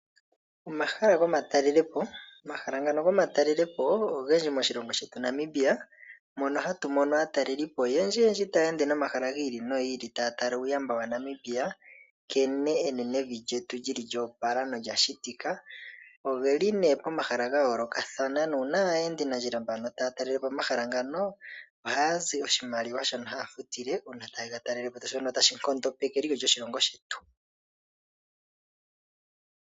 Omahala gomatalelepo, omahala ngano gomatalelepo ogendji moshilongo shetu Namibia, mono hatumono aataleli oyendji yendji tayeende nomahala ngiili no ngiili taatala uuyamba wa Namibia nankene evi lyetu lyashitika. Aataleli oyeli née pomahala gayooloka no ngele aayendi taatalelepo omahala ngano ohaazi oshimaliwa shono tashi nkondopeke eliko lyoshilongo shetu.